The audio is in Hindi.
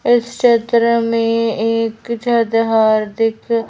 इस क्षेत्र में एक जद हार्दिक--